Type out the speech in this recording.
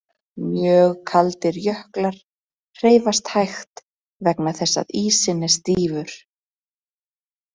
Mjög kaldir jöklar hreyfast hægt vegna þess að ísinn er stífur.